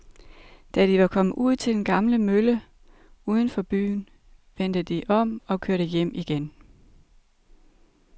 Da de var kommet ud til den gamle mølle uden for byen, vendte de om og kørte hjem igen.